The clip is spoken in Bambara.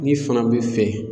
Ne fana bɛ fɛ